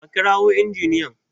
a kirawo injiniyan!